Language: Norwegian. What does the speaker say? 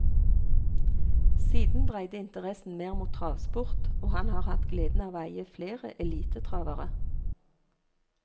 Siden dreide interessen mer mot travsport, og han har hatt gleden av å eie flere elitetravere.